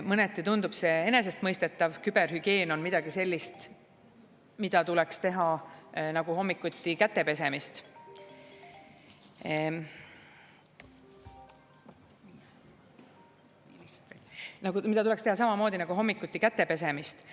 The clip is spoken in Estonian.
Mõneti tundub see enesestmõistetav, küberhügieen on midagi sellist , mida tuleks teha samamoodi nagu hommikuti käte pesemist.